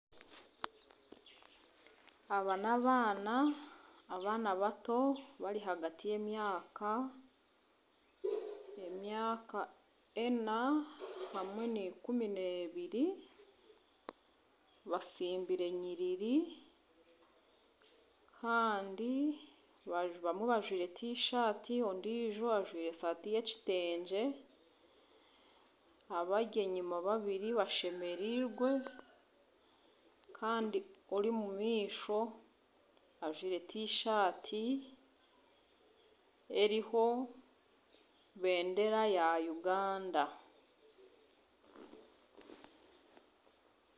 Aba n'abaana, n'abaana bato bari ahagati y'emyaka ena hamwe naikumi n'ebiri batsimbire enyiriri kandi abamwe bajwire tishati ondiijo ajwire eshaati y'ekitegye abari enyima babiri bashemereirwe kandi ori omu maisho ajwire tishati eriho bendera ya Uganda